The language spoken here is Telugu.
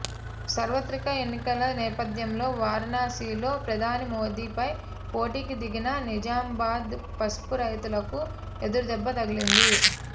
సార్వత్రిక ఎన్నికల నేపథ్యలో వారణాసిలో ప్రధాని మోదీపై పోటీకి దిగిన నిజామాబాద్ పసుపు రైతులకు ఎదురుదెబ్బ తగిలింది